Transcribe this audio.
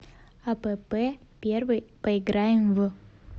апп первый поиграем в